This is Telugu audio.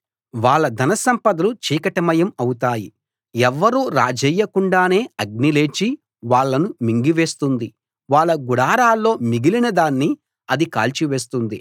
వాళ్ళ ధన సంపదలు చీకటిమయం అవుతాయి ఎవ్వరూ రాజేయకుండానే అగ్ని లేచి వాళ్ళను మింగివేస్తుంది వాళ్ళ గుడారాల్లో మిగిలినదాన్ని అది కాల్చివేస్తుంది